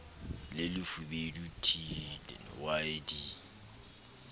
le lefubedu t w d